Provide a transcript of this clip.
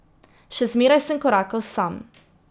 Še zmeraj sem korakal sam.